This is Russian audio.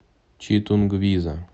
читунгвиза